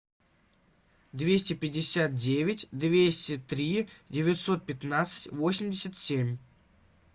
двести пятьдесят девять двести три девятьсот пятнадцать восемьдесят семь